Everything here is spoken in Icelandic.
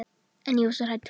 En ég var svo hrædd.